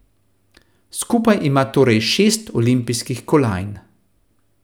Skupaj ima torej šest olimpijskih kolajn.